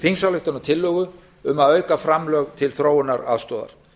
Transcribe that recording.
þingsályktunartillögu um að auka framlög til þróunaraðstoðar